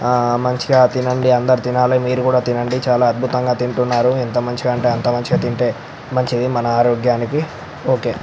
ఆ మంచిగా తినండి అందరు తినాలి మీరు కూడా తిన్నండి చాల అద్భుతంగా తింటున్నారు ఎంత మంచిగా అంటే అంత మంచిగా తింటే అంత మంచిది మన ఆరోగ్యానికి మీరు కూడా తినండి ఓకే .